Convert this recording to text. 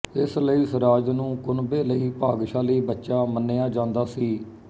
ਇਸ ਲਈ ਸਿਰਾਜ ਨੂੰ ਕੁਨਬੇ ਲਈ ਭਾਗਸ਼ਾਲੀ ਬੱਚਾ ਮੰਨਿਆ ਜਾਂਦਾ ਸੀ